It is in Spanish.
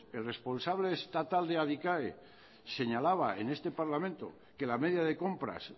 el responsable estatal de adicae señalaba en este parlamento que la media de compras